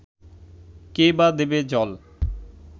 কে-বা দেবে জল